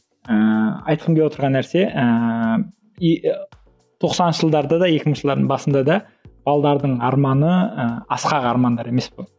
ыыы айтқым келіп отырған нәрсе ыыы тоқсаныншы жылдарда да екі мыңыншы жылдардың басында да балалардың арманы ы асқақ армандар емес бұл